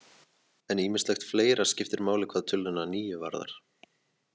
En ýmislegt fleira skiptir máli hvað töluna níu varðar.